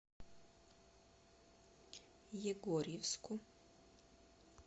егорьевску